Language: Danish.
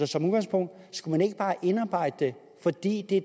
som udgangspunkt bare indarbejde det fordi det